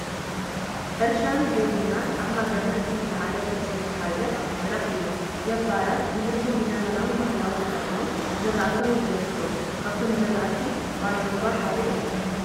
ሕርሸን ግብርናን ኣብ ሃገርና እቲ ዝላዓለ ፐርሰንት ዝሓዘ ስራሕ እዩ፡፡ ገባራት ምህርቶም ብዘበናውን ባህላውን ተጠቒሞም ዝራእቶም የደንፍዑ፡፡ ካብኣቶም ዝራእቲ ባሎንጓ ሓደ እዩ፡፡